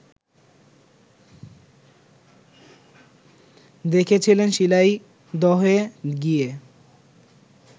দেখেছিলেন শিলাইদহে গিয়ে